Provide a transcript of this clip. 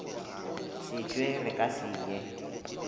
setšwe re ka se ye